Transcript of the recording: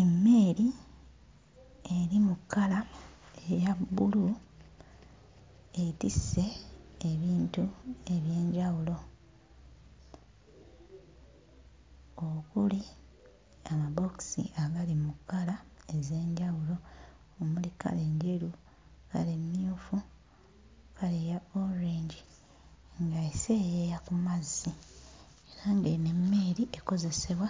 Emmeeri eri mu kkala eya bbulu etisse ebintu eby'enjawulo. Okuli amabookisi agali mu kkala ez'enjawulo, omuli kkala enjeru, kkala emmyufu, kkala eya orange nga eseeyeeya ku mazzi. Era ng'eno emmeeri ekozesebwa